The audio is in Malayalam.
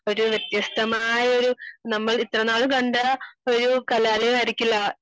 ഒരു വ്യത്യസ്തമായ ഒരു നമ്മൾ ഇത്രനാളും കണ്ട ഒരു കലാലയം ആയിരിക്കില്ല